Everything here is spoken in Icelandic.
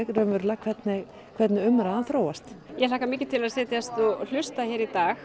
hvernig hvernig umræðan þróast ég hlakka mikið til að setjast hér og hlusta í dag